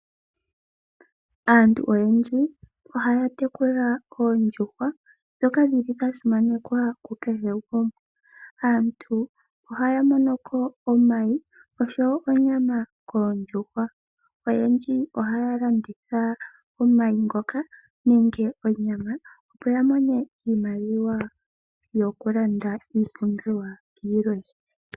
Aantu oyendji ohaya tekula oondjuhwa ndhoka dhili dha simanekwa ku kehe gumwe. Aantu ohaya mono ko omayi osho wo onyama koondjuhwa . Oyendji ohaya landitha omayi ngoka nenge onyama opo ya mone iimaliwa yoku landa iipumbiwa yilwe.